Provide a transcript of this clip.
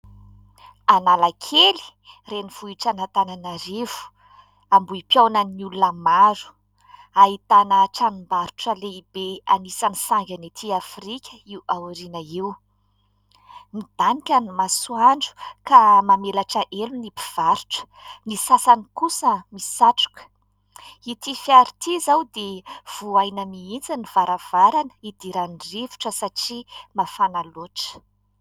Analakely, renivohitr'Antananarivo, ambohim-piaonan'ny olona maro. Ahitana tranombarotra lehibe anisan'ny sangany ety afrika io aoriana io. Midanika ny masoandro ka mamelatra elo ny mpivarotra, ny sasany kosa misatroka. Ity fiara ity izao dia vohaina mihitsy ny varavarana idiran'ny rivotra satria mafana loatra.